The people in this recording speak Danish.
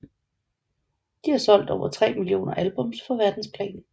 De har solgt over 3 millioner albums på verdensplan